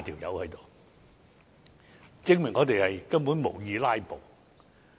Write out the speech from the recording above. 由此可見，我們根本無意"拉布"。